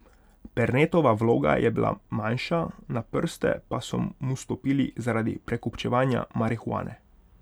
Pernetova vloga je bila manjša, na prste pa so mu stopili zaradi prekupčevanja marihuane.